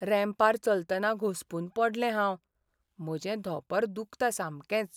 रॅम्पार चलतना घुसपून पडलें हांव. म्हजें धोंपर दुखता सामकेंच.